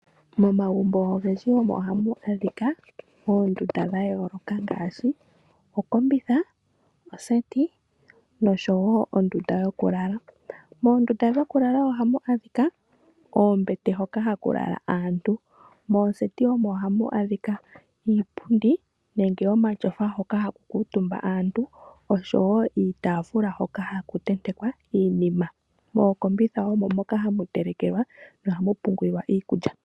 Momagumbo ogendji omo ohamu adhika oondunda dhayooloka ngaashi, okombitha, ondundu yokugondja nosho wo oondunda dhokulala. Moondunda dhokulala ohamu adhika oombete hoka haku lala aantu. Moondunda dhokugondja omo hamu adhika iipundi nenge omashofa hoka haku kuutumba aantu osho wo iitaafula hoka haku tentekwa iinima. Mookombitha omo moka hamu telekelwa nohamu pungulwa iikulya.